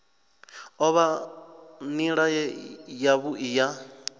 o vha nila yavhui ya